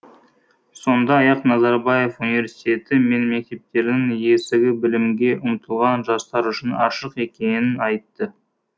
сондай ақ назарбаев университеті мен мектептерінің есігі білімге ұмтылған жастар үшін ашық екенін айтты